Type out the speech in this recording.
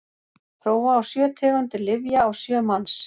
prófa á sjö tegundir lyfja á sjö manns